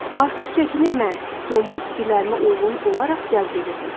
Artıq çəkimi mən yombul fikirlərimə uyğun olaraq cəzb edirdim.